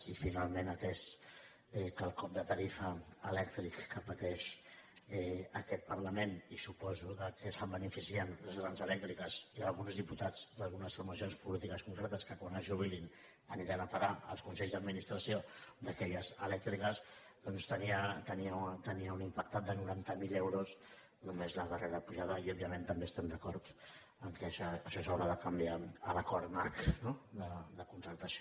i finalment atès que el cop de tarifa elèctrica que pateix aquest parlament i suposo que se’n beneficien les grans elèctriques i alguns diputats d’algunes formacions polítiques concretes que quan es jubilin aniran a parar als consells d’administració d’aquelles elèctriques doncs tenia un impacte de noranta mil euros només la darrera pujada de la llum i òbviament també estem d’acord que això s’haurà de canviar en l’acord marc no de contractació